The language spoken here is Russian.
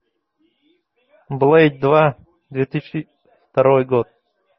блэйд два две тысячи второй год